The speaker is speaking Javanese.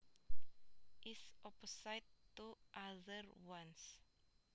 is opposite to other ones